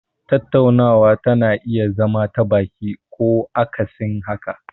Tattaunawa tana iya zama ta baki ko akasin haka.